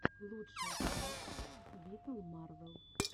лучшая часть виталмарвел